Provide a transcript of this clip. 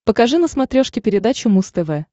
покажи на смотрешке передачу муз тв